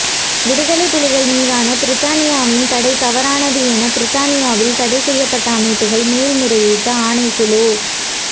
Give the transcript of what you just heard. விடுதலைப் புலிகள் மீதான பிரித்தானியாவின் தடை தவறானது என பிரித்தானியாவில் தடைசெய்யப்பட்ட அமைப்புக்கள் மேன்முறையீட்டு ஆணைக்குழு